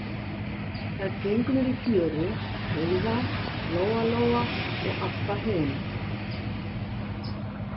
Þær gengu niður í fjöru, Heiða, Lóa Lóa og Abba hin.